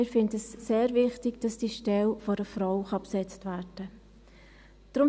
Wir finden es sehr wichtig, dass diese Stelle von einer Frau besetzt werden kann.